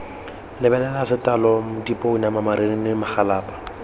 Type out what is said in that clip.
lebelela letlalo dipounama marinini magalapa